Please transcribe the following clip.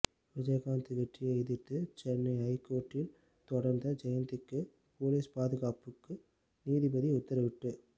விஜயகாந்த் வெற்றியை எதிர்த்து சென்னை ஐ கோர்ட்டில் தொடர்ந்த ஜெயந்திக்கு பொலிஸ் பாதுகாப்புக்கு நீதிபதி உத்தரவிட்டு